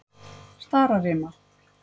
Stararima